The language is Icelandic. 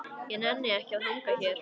Ég nenni ekki að hanga hér.